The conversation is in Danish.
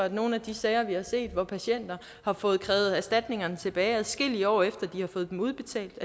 i nogle af de sager vi har set hvor patienter har fået krævet erstatningerne tilbage adskillige år efter at de har fået den udbetalt